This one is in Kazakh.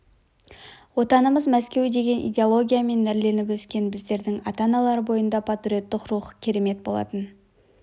отанымыз мәскеу деген идеологиямен нәрленіп өскен біздердің ата-аналар бойында патриоттық рух керемет болатын